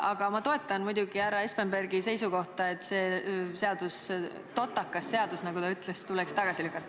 Aga ma toetan muidugi härra Espenbergi seisukohta, et see seadus, "see totakas seadus", nagu ta ütles, tuleks tagasi lükata.